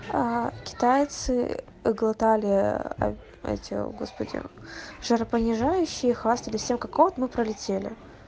аа китайцы ээ глотали ээ эти господи жаропонижающие и хвастались всем как вот мы пролетели